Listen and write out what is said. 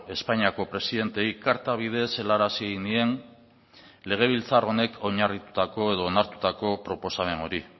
espainiako presidenteei karta bidez helarazi nien legebiltzar honek oinarritutako edo onartutako proposamen hori